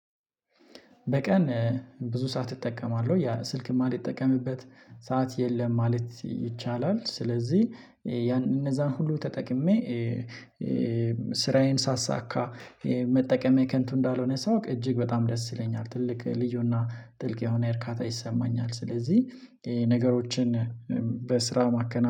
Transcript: በቀን ብዙ ሰዓት እጠቀማል ያለ ስልክ ማልጠቀምበት ሰዓት የለም ማለት ይቻላል። ስለዚህ ያን እነዛን ሁሉ ተጠቅሜ። ስራዬን ሳሳካ። መጠቀም የከንቱ እንዳልሆነ ሳውቅ እጅግ በጣም ደስ ይለኛል ትልቅ ልዩና ጥልቅ የሆነ እርካታ ይሰማኛል። ስለዚህ ነገሮችን በስራ ማከናወን